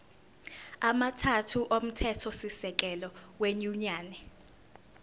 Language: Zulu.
amathathu omthethosisekelo wenyunyane